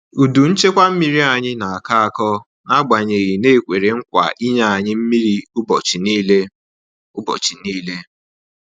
Udu nchekwa mmiri anyị na-akọ akọ n'agbanyeghị na e kwere nkwa inye anyi mmiri ubọchi nile. ubọchi nile.